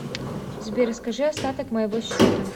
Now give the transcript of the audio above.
сбер скажи остаток моего счета